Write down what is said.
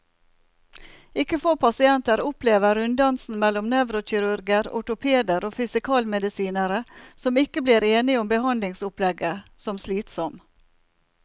Ikke få pasienter opplever runddansen mellom nevrokirurger, ortopeder og fysikalmedisinere, som ikke blir enige om behandlingsopplegget, som slitsom.